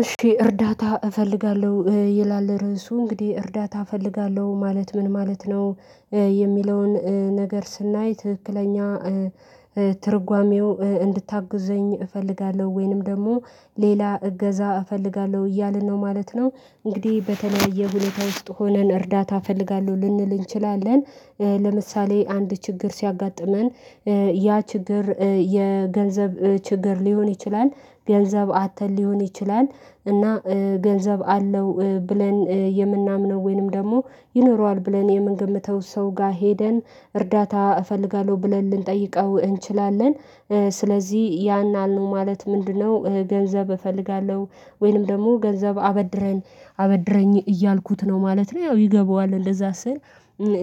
እሺ እርዳታ እፈልጋለሁ ይላል ርዕሱ እንግዲህ እርዳታ እፈልጋለሁ ማለት ምን ማለት ነው? የሚለውን ነገር ስናይ ትክክለኛ ትርጓሜው እንድታግዙኝ እፈልጋለሁ ወይንም ደግሞ ሌላ እገዛ እፈልጋለሁ እያልን ነው ማለት ነው። እንግዲህ በተለያየ ሁኔታ ውስጥ ሆነን እርዳታ እፈልጋለሁ ልንል እንችላለን ለምሳሌ አንድ ችግር ሲያጋጥመን። ያ ችግር የገንዘብ ችግር ሊሆን ይችላል ገንዘብ አጥተን ሊሆን ይችላል እና ገንዘብ አለው ብለን የምናምነው ወይንም ደግሞ ይኖረዋል ብለን የምንገምተው ሰው ጋር ሄደን እርዳታ እፈልጋለሁ ብለን ልንጠይቀው እንችላለን። ስለዚህ ያን አሉ ማለት ምንድነው? ገንዘብ እፈልጋለሁ ወይንም ደግሞ ገንዘብ አበድረን አበድረኝ እያልኩት ነው ማለት ነው ያው ይገባዋል እንደዛ ስል።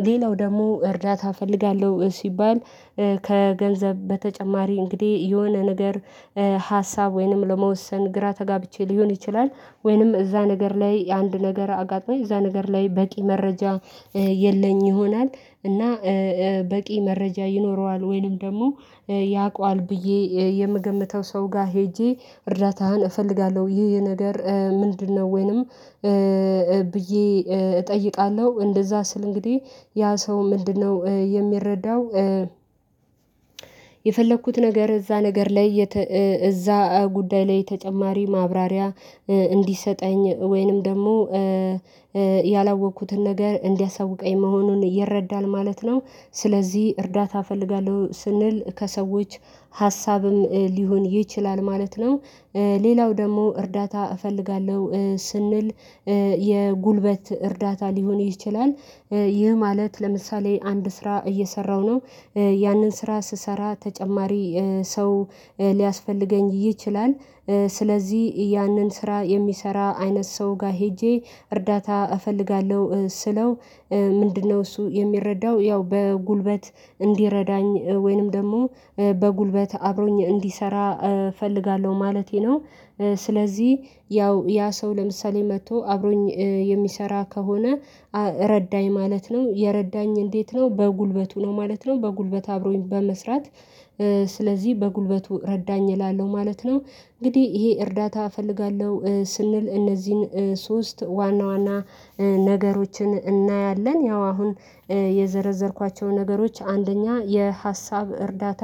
ሌላው ደግሞ እርዳታ እፈልጋለሁ ሲባል። ከገንዘብ በተጨማሪ እንግዲህ የሆነ ነገር ሀሳብ ወይንም ለመወሰን ግራ ተጋብቼ ሊሆን ይችላል ወይንም እዛ ነገር ላይ አንድ ነገር አጋጣሞኝ እዛ ነገር ላይ በቂ መረጃ የለኝ ይሆናል። እና በቂ መረጃ ይኖረዋል ወይንም ደግሞ ያውቀዋል ብዬ የምገምተው ሰው ጋር ሄጄ እርዳታህን እፈልጋለሁ ይህ የነገር ምንድነው? ወይንም ብዬ እጠይቃለሁ እንደዛ ስል እንግዲህ ያ ሰው ምንድነው የሚረዳው? የፈለኩት ነገር እዛ ነገር ላይ እዛ ጉዳይ ላይ ተጨማሪ ማብራሪያ እንዲሰጠኝ ወይንም ደግሞ ያላወቅኩትን ነገር እንዲያሳውቀኝ መሆኑን ይረዳል ማለት ነው። ስለዚህ እርዳታ እፈልጋለሁ ስንል ከሰዎች ሀሳብም ሊሆን ይችላል ማለት ነው። ሌላው ደግሞ እርዳታ እፈልጋለሁ ስንል የጉልበት እርዳታ ሊሆን ይችላል። ይህ ማለት ለምሳሌ አንድ ስራ እየሰራሁ ነው ያንን ስራ ስሰራ ተጨማሪ ሰው ሊያስፈልገኝ ይችላል። ስለዚህ ያንን ስራ የሚሰራ አይነት ሰው ጋር ሄጄ እርዳታ እፈልጋለሁ ስለው ምንድነው እሱ የሚረዳው ያው በጉልበት እንዲረዳኝ ወይንም ደግሞ በጉልበት አብሮኝ እንዲሰራ እፈልጋለሁ ማለቴ ነው። ስለዚህ ያው ያ ሰው ለምሳሌ መጥቶ አብሮኝ የሚሰራ ከሆነ ረዳኝ ማለት ነው የረዳኝ እንዴት ነው በጉልበቱ ነው ማለት ነው በጉልበት አብሮኝ በመስራት። ስለዚህ በጉልበቱ ረዳኝ እላለሁ ማለት ነው። እንግዲህ ይሄ እርዳታ እፈልጋለሁ ስንል እነዚህን ሶስት ዋና ዋና ነገሮችን እናያለን ያው አሁን የዘረዘርኳቸው ነገሮች አንደኛ የሀሳብ እርዳታ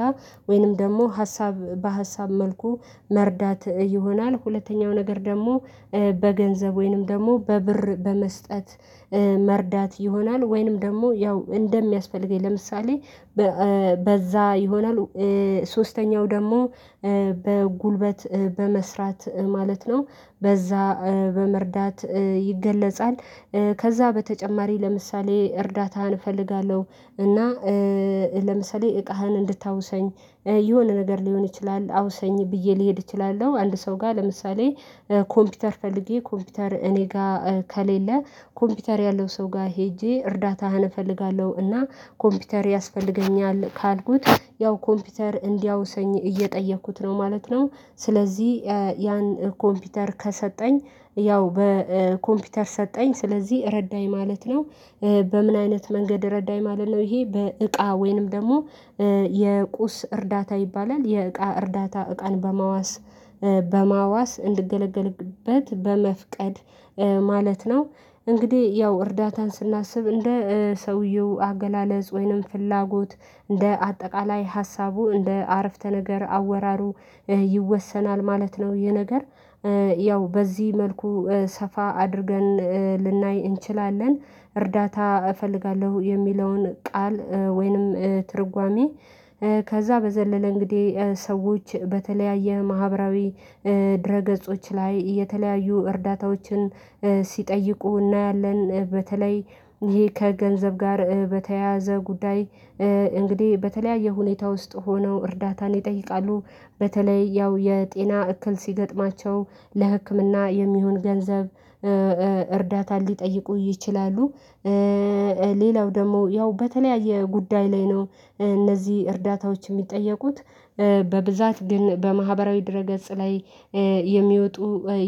ወይንም ደግሞ ሀሳብ በሀሳብ መልኩ መርዳት ይሆናል። ሁለተኛው ነገር ደግሞ በገንዘብ ወይንም ደግሞ በብር በመስጠት መርዳት ይሆናል። ወይንም ደግሞ ያው እንደሚያስፈልገኝ ለምሳሌ በዛ ይሆናል ሶስተኛው ደግሞ በጉልበት በመስራት ማለት ነው በዛ በመርዳት ይገለጻል። ከዛ በተጨማሪ ለምሳሌ እርዳታህን እፈልጋለሁ እና ለምሳሌ እቃህን እንድታውሰኝ የሆነ ነገር ሊሆን ይችላል አውሰኝ ብዬ ልሄድ እችላለሁ አንድ ሰው ጋር ለምሳሌ ኮምፒውተር ፈልጌ ኮምፒውተር እኔ ጋር ከሌለ ኮምፒውተር ያለው ሰው ጋር ሄጄ እርዳታህን እፈልጋለሁ እና ኮምፒውተር ያስፈልገኛል ካልኩት ያው ኮምፒውተር እንዲያውሰኝ እየጠየኩት ነው ማለት ነው። ስለዚህ ያን ኮምፒውተር ከሰጠኝ ያው በኮምፒውተር ሰጠኝ ስለዚህ ረዳኝ ማለት ነው። በምን አይነት መንገድ ረዳኝ ማለት ነው ይሄ በእቃ ወይንም ደግሞ የቁስ እርዳታ ይባላል። የእቃ እርዳታ እቃን በማዋስ በማዋስ እንድገለገልበት በመፍቀድ ማለት ነው። እንግዲህ ያው እርዳታን ስናስብ እንደ ሰውየው አገላለጽ ወይንም ፍላጎት እንደ አጠቃላይ ሀሳቡ እንደ አረፍተ ነገር አወራሩ ይወሰናል ማለት ነው ይሄ ነገር ያው በዚህ መልኩ ሰፋ አድርገን ልናይ እንችላለን። እርዳታ እፈልጋለሁ የሚለውን ቃል ወይንም ትርጓሜ። ከዛ በዘለለ እንግዲህ ሰዎች በተለያየ ማህበራዊ ድረ ገጾች ላይ የተለያዩ እርዳታዎችን ሲጠይቁ እናያለን። በተለይ ይሄ ከገንዘብ ጋር በተያያዘ ጉዳይ እንግዲህ በተለያየ ሁኔታ ውስጥ ሆነው እርዳታን ይጠይቃሉ በተለይ ያው የጤና እክል ሲገጥማቸው ለህክምና የሚሆን ገንዘብ እርዳታ ሊጠይቁ ይችላሉ። ሌላው ደግሞ ያው በተለያየ ጉዳይ ላይ ነው እነዚህ እርዳታዎች የሚጠየቁት በብዛት ግን በማህበራዊ ድረ ገጽ ላይ የሚወጡ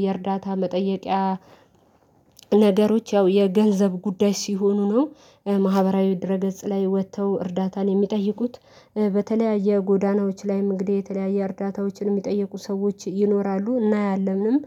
የእርዳታ መጠየቂያ ነገሮች ያው የገንዘብ ጉዳይ ሲሆኑ ነው። ማህበራዊ ድረ ገጽ ላይ ወጥተው እርዳታን የሚጠይቁት በተለያዩ ጎዳናዎች ላይም እንግዲህ የተለያየ እርዳታዎችን የሚጠየቁ ሰዎች ይኖራሉ እናያለንም